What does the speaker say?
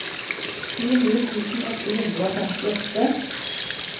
tjueni tusen åtte hundre og femtiåtte